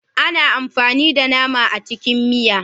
Ana amfani da nama a cikin miya.